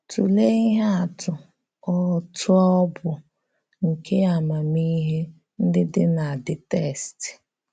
Tùlèé íhè àtụ̀ ọ̀tụ̀ọ̀ bụ̀ nke àmàmíhè ndí dị̀ nà the text.